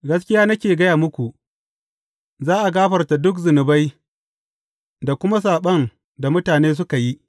Gaskiya nake gaya muku, za a gafarta duk zunubai da kuma saɓon mutane suka yi.